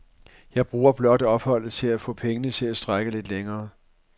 Jeg bruger blot opholdet til at få pengene til at strække lidt længere.